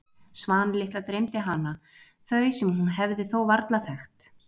Svan litla dreymdi hana, þau sem hún hefði þó varla þekkt.